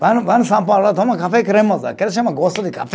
Vão no, vão no São Paulo lá, toma café cremoso, aquele chama gosto de café.